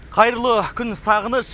қайырлы күн сағыныш